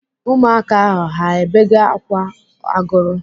Ụmụaka ahụ ha bege ákwà agụrụ?